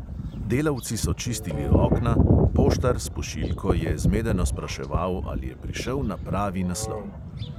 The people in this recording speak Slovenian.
Delavci so čistili okna, poštar s pošiljko je zmedeno spraševal, ali je prišel na pravi naslov.